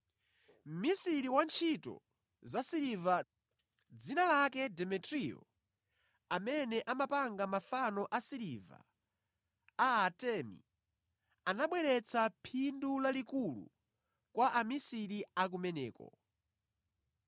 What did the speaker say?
Mmisiri wantchito zasiliva, dzina lake Demetriyo, amene amapanga mafano asiliva a Atemi ankabweretsa phindu lalikulu kwa amisiri a kumeneko.